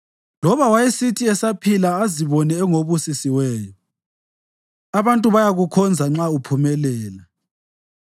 Loba wayesithi esaphila azibone engobusisiweyo abantu bayakukhonza nxa uphumelela,